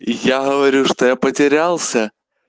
я говорю что я потерялся